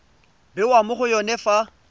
bewa mo go yone fa